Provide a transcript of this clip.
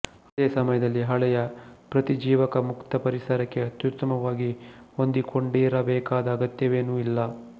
ಅದೇ ಸಮಯದಲ್ಲಿ ಹಳೆಯ ಪ್ರತಿಜೀವಕ ಮುಕ್ತ ಪರಿಸರಕ್ಕೆ ಅತ್ಯುತ್ತಮವಾಗಿ ಹೊಂದಿಕೊಂಡಿರ ಬೇಕಾದ ಅಗತ್ಯವೇನೂ ಇಲ್ಲ